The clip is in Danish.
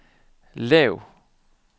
lav